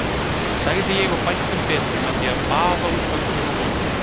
sagði ég og bætti um betur með því að baða út höndum og fótum.